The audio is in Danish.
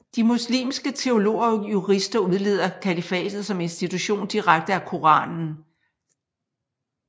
De muslimske teologer og jurister udleder kalifatet som institution direkte af Koranen